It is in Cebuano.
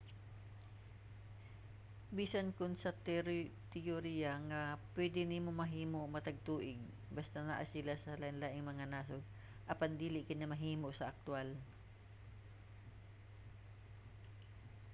bisan kon sa teyorya nga pwede kini mahimo matag tuig basta naa sila sa lainlaing mga nasod apan dili kini mahimo sa aktwal